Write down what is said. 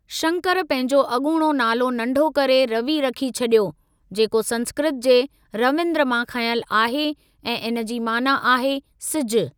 शंकर पंहिंजो अॻूणो नालो नंढो करे रवि रखी छॾियो, जेको संस्कृत जे 'रविंद्र' मां खंयलु आहे ऐं इन जी माना आहे 'सिजु'।